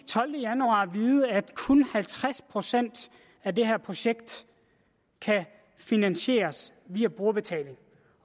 tolvte januar at vide at kun halvtreds procent af det her projekt kan finansieres via brugerbetaling